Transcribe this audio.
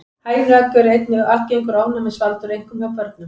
Hænuegg eru einnig algengur ofnæmisvaldur, einkum hjá börnum.